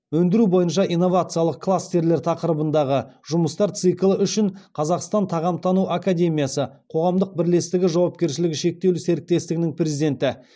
өндіру бойынша инновациялық кластерлер тақырыбындағы жұмыстар циклі үшін қазақстан тағамтану академиясы қоғамдық бірлестігі жауапкершілігі шектеулі серіктестігінің президенті